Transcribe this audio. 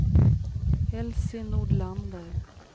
Elsie Nordlander